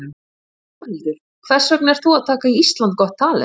Þórhildur: Hvers vegna ert þú að taka þátt í Ísland got talent?